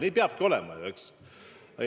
Nii peabki olema, eks ole.